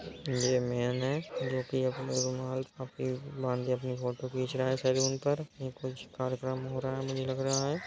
ये मेन है जोकि अपने रुमाल काफी बांध केअपनी फोटो खींच रहा है सलून पर। ये कुछ कार्यक्रम हो रहा है मुझे लग रहा है।